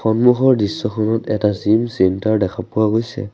সন্মুখৰ দৃশ্যখনত এটা জিম চেন্টাৰ দেখা পোৱা গৈছে।